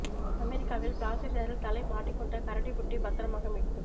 அமெரிக்காவில் பிளாஸ்டிக் ஜாரில் தலை மாட்டிக் கொண்ட கரடிக்குட்டி பத்திரமாக மீட்பு